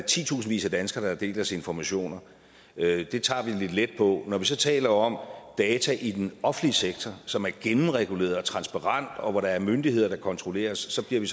titusindvis af danskere der deler ens informationer det tager vi lidt let på men når vi så taler om data i den offentlige sektor som et gennemreguleret og transparent og hvor der er myndigheder der kontrolleres så bliver vi